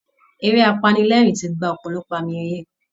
Eré apanilẹ́ẹ̀rín ti gba ọ̀pọ̀lọpọ̀ àmì ẹ̀yẹ